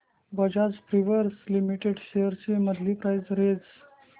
Bajaj Finserv limited shares ची monthly price range